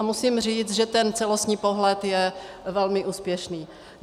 A musím říct, že ten celostní pohled je velmi úspěšný.